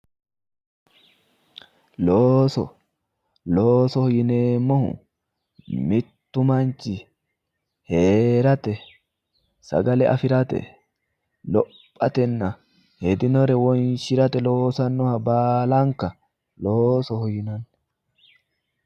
Looso, loosoho yineemmohu mitu manchi heerate sagale afirate lophatenna hedinore wonshirate loosanoha baallanka loosoho yinanni